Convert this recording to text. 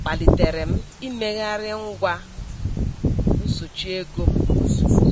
kpalitere m imegharị ngwa nsochi ego m ozugbo.